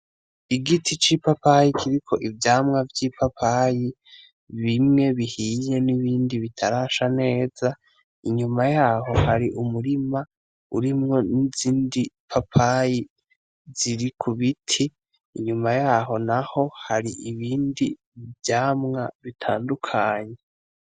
Igiti c'ipapayi kiriko ivyamwa vy'ipapayi, bimwe bihiye n'ibindi bitarasha neza, inyuma yaho har'umurima urimwo n'izindi papayi ziri ku biti inyuma yaho naho har'ibindi vyamwa bitandukanye.